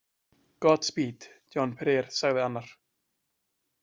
Godspeed, Jean- Pierre, sagði annar.